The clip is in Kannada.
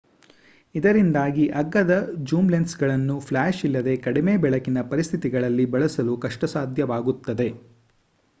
ಇದರಿಂದಾಗಿ ಅಗ್ಗದ ಜೂಮ್ ಲೆನ್ಸ್ ಗಳನ್ನು ಫ್ಲಾಶ್ ಇಲ್ಲದೆ ಕಡಿಮೆ-ಬೆಳಕಿನ ಪರಿಸ್ಥಿತಿಗಳಲ್ಲಿ ಬಳಸಲು ಕಷ್ಟಸಾಧ್ಯವಾಗುತ್ತದೆ